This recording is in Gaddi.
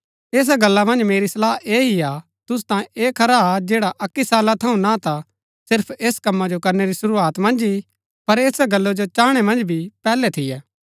ऐसा गल्ला मन्ज मेरी सलाह ऐह ही हा तुसु तांयें ऐह खरा हा जैडा अक्की साला थऊँ ना ता सिर्फ ऐस कम्मा जो करनै री शुरूआत मन्ज ही पर ऐसा गल्ला जो चाहणै मन्ज भी पैहलै थियै